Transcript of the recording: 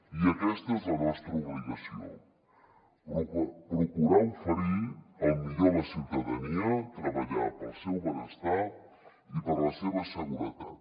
i aquesta és la nostra obligació procurar oferir el millor a la ciutadania treballar pel seu benestar i per la seva seguretat